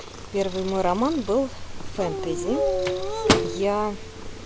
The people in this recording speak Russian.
первый мой роман был фэнтези я